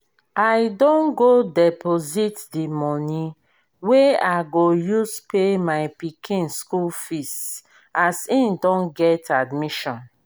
i don go deposit the money wey i go use pay my pikin school fees as he don get admission